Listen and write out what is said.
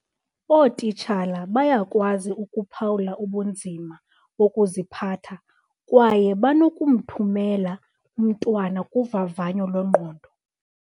Ootitshala bayakwazi ukuphawula ubunzima bokuziphatha kwaye banokumthumela umntwana kuvavanyo lwengqondo.